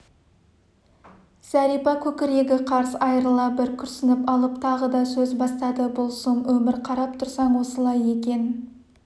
зәрипа көкірегі қарс айырыла бір күрсініп алып тағы да сөз бастады бұл сұм өмір қарап тұрсаң осылай екен